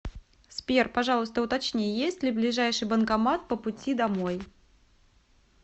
сбер пожалуйста уточни есть ли ближайший банкомат по пути домой